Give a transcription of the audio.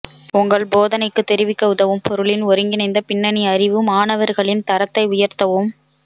உங்கள் போதனைக்குத் தெரிவிக்க உதவும் பொருளின் ஒருங்கிணைந்த பின்னணி அறிவு மாணவர்களின் தரத்தை உயர்த்தவும்